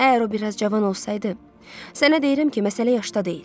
Əgər o biraz cavan olsaydı, sənə deyirəm ki, məsələ yaşda deyil.